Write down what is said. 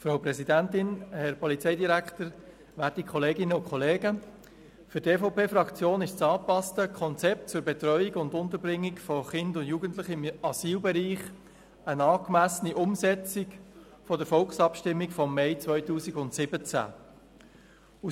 Für die EVP-Fraktion ist das angepasste Konzept zur Betreuung und Unterbringung von Kindern und Jugendlichen im Asylbereich eine angemessene Umsetzung der Volksabstimmung vom Mai 2017.